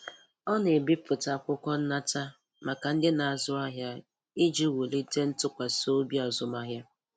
Ọ na-ebipụta akwụkwọ nnata maka ndị na-azụ ahịa, iji wulite ntụkwasị obi azụmahịa.